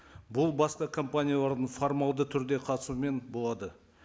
бұл басқа компаниялардың формальді түрде қатысуымен болады